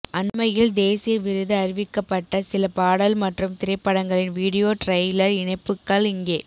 அண்மையில் தேசிய விருது அறிவிக்கப்பட்ட சில பாடல் மற்றும் திரைப்படங்களின் வீடியோ ட்ரெயிலர் இணைப்புக்கள் இங்கே